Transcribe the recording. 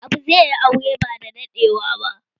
Abu zai yi aure bada daɗewa ba